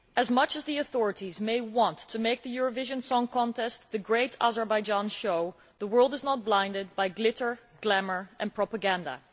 Much as the authorities may want to make the Eurovision Song Contest the Great Azerbaijan Show', the world is not blinded by glitter, glamour and propaganda.